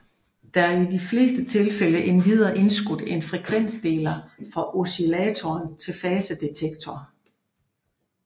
Der er i de fleste tilfælde endvidere indskudt en frekvensdeler fra oscillator til fasedetektor